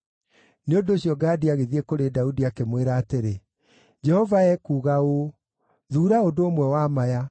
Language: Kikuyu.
Nĩ ũndũ ũcio Gadi agĩthiĩ kũrĩ Daudi, akĩmwĩra atĩrĩ, “Jehova ekuuga ũũ: ‘Thuura ũndũ ũmwe wa maya: